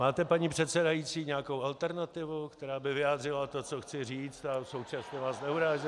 Máte, paní předsedající, nějakou alternativu, která by vyjádřila to, co chci říct, a současně vás neurážela?